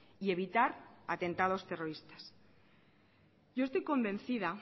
y evitar atentados terroristas yo estoy convencida